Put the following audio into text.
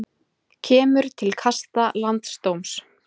Kemur til kasta landsdóms